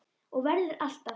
Og verður alltaf.